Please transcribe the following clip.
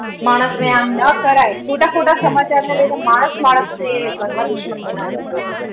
માણસને આમ ન કરાય. ખોટા-ખોટા સમાચારના લીધે માણસ-માણસને એક ઘરમાં દુશ્મન બનાવી દીધો હતો.